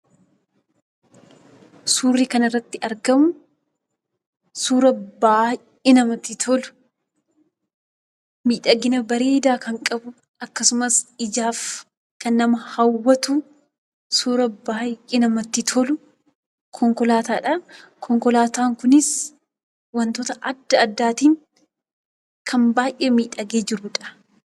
Suurri kanarratti argamu suura baay'ee namatti tolu, miidhagina bareedaa kan qabu akkasumas ijaaf kan nama hawwatu suuraa baay'ee namatti tolu; konkolaataadha. Konkolaataan kunis wantoota adda addaatiin kan baay'ee miidhagee jirudha.